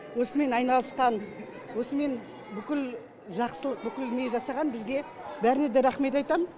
осымен айналысқан осымен бүкіл жақсылық бүкіл не жасаған бізге бәріне де рахмет айтам